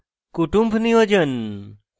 kutumb niyojan